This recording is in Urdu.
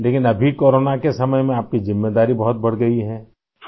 لیکن اب آپ کی ذمہ داری کورونا کے وقت میں بہت بڑھ گئی ہے؟